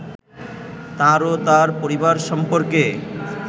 তার ও তার পরিবার সম্পর্কে